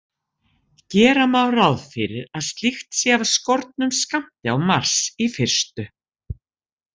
Gera má ráð fyrir að slíkt sé af skornum skammti á Mars í fyrstu.